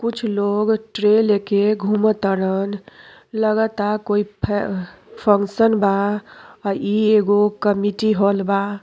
कुछ लोग ट्रे लेकर घुमतरन। लगता कोई फे फंक्शन बा और इ एगो कमिटी हॉल बा।